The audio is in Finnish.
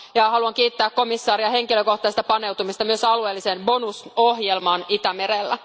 Haluan kiittää komissaaria henkilökohtaisesta paneutumisesta myös alueelliseen bonusohjelmaan Itämerellä.